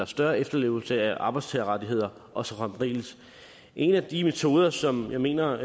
større efterlevelse af arbejdstagerrettigheder og så fremdeles en af de metoder som jeg mener